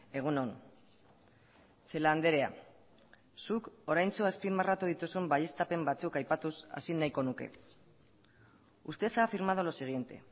egun on celaá andrea zuk oraintsu azpimarratu dituzun baieztapen batzuk aipatuz hasi nahiko nuke usted ha afirmado lo siguiente